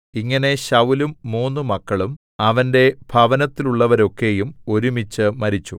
ഇങ്ങനെ ശൌലും മൂന്നു മക്കളും അവന്റെ ഭവനത്തിലുള്ളവരൊക്കെയും ഒരുമിച്ച് മരിച്ചു